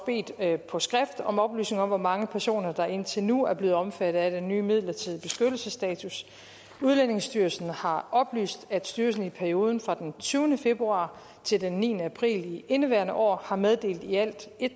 på skrift bedt om oplysninger om hvor mange personer der indtil nu er blevet omfattet af den nye midlertidige beskyttelsestatus udlændingestyrelsen har oplyst at styrelsen i perioden fra den tyvende februar til den niende april i indeværende år har meddelt i alt